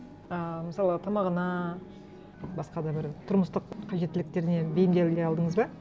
ііі мысалы тамағына басқа да бір тұрмыстық қажеттіліктеріне бейімделе алдыңыз ба